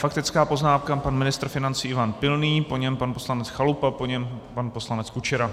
Faktická poznámka pan ministr financí Ivan Pilný, po něm pan poslanec Chalupa, po něm pan poslanec Kučera.